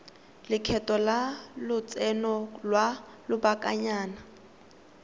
lekgetho la lotseno lwa lobakanyana